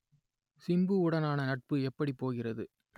சிம்புவுடனான நட்பு எப்படி போகிறது